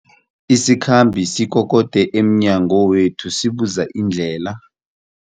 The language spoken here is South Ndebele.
Isikhambi sikokode emnyango wethu sibuza indlela.